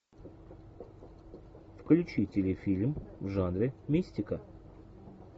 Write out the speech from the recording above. включи телефильм в жанре мистика